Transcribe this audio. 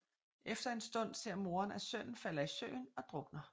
Efter en stund ser moren at sønnen falder i søen og drukner